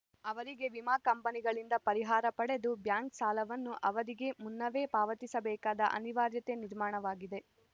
ಅವರಿಗೆ ವಿಮಾ ಕಂಪನಿಗಳಿಂದ ಪರಿಹಾರ ಪಡೆದು ಬ್ಯಾಂಕ್‌ ಸಾಲವನ್ನು ಅವಧಿಗೆ ಮುನ್ನವೇ ಪಾವತಿಸಬೇಕಾದ ಅನಿವಾರ್ಯತೆ ನಿರ್ಮಾಣವಾಗಿದೆ